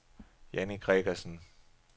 Janni Gregersen